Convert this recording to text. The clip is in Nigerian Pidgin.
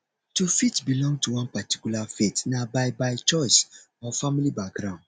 to fit belong to one particular faith na by by choice or family background